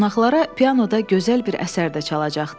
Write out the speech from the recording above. Qonaqlara pianoda gözəl bir əsər də çalacaqdı.